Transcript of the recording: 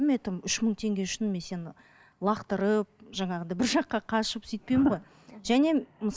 мен айтамын үш мың теңге үшін мен сені лақтырып жаңағыдай бір жаққа қашып сөйтпеймін ғой және